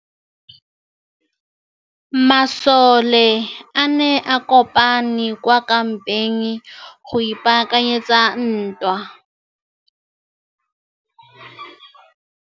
Masole a ne a kopane kwa kampeng go ipaakanyetsa ntwa.